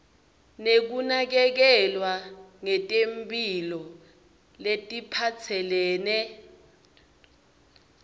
tekunakekelwa ngetemphilo letiphatselene